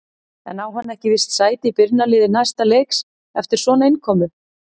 En á hann ekki víst sæti í byrjunarliði næsta leiks eftir svona innkomu?